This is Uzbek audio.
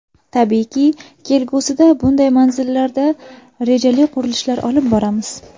Tabiiyki, kelgusida bunday manzillarda rejali qurilishlar olib boramiz.